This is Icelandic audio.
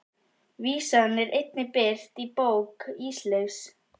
Vísan er einnig birt í bók Ísleifs